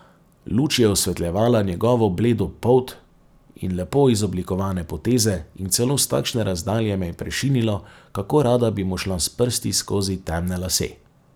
Luč je osvetljevala njegovo bledo polt in lepo izoblikovane poteze in celo s takšne razdalje me je prešinilo, kako rada bi mu šla s prsti skozi temne lase.